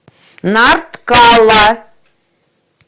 нарткала